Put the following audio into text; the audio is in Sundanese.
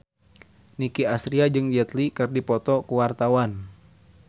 Nicky Astria jeung Jet Li keur dipoto ku wartawan